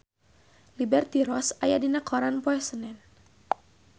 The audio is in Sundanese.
Liberty Ross aya dina koran poe Senen